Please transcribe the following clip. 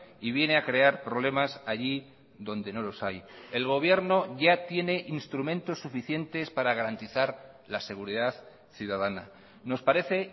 y viene a crear problemas allí donde no los hay el gobierno ya tiene instrumentos suficientes para garantizar la seguridad ciudadana nos parece